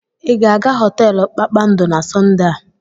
Ị ga-aga họteelu kpakpando na Sọnde a?